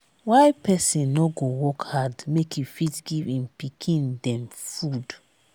why pesin no go work hard make e fit give im pikin dem food.